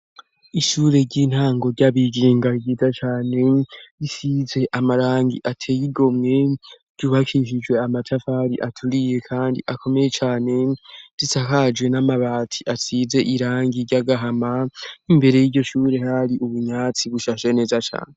Ishure ry'intango ry'abigenga ryiza cane ,risize amarangi ateye igomwe, ry'ubakishijwe amatafari aturiye ,kandi akomeye cane ,risakaje n'amabati asize irangi ry'agahama, n'imbere y'iryo shure hari ubunyatsi bushashe neza cane.